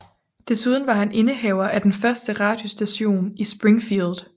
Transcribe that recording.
Desuden var han indehaver af den første radiostation i Springfield